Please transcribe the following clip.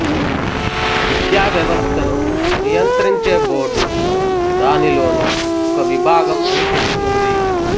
విద్యా వ్యవస్థను నియంత్రించే బోర్డు దానిలోని ఒక విభాగం అని చెపుతుంది